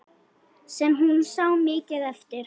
Sem hún sá mikið eftir.